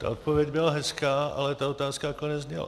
Ta odpověď byla hezká, ale ta otázka takhle nezněla.